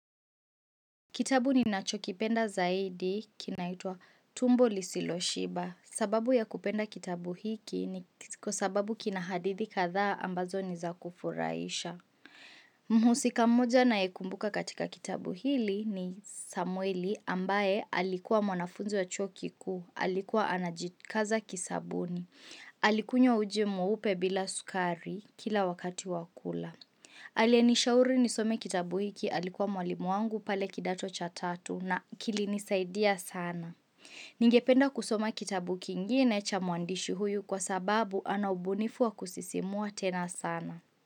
Kitabu ninachokipenda zaidi, kinaitwa tumbo Lisiloshiba. Sababu ya kupenda kitabu hiki ni kwa sababu kina hadithi kadhaa ambazo ni za kufurahisha. Mhusika mmoja ninaemkumbuka katika kitabu hiki ni Samueli ambaye alikuwa mwanafunzi wa chuo kikuu, alikuwa anajikaza kisabuni. Alikunywa uji mweupe bila sukari kila wakati wa kula. Alienishauri nisome kitabu hiki alikuwa mwalimu wangu pale kidato cha tatu na kilini saidia sana. Ningependa kusoma kitabu kingine cha muandishi huyu kwa sababu anaubunifu wa kusisimua tena sana.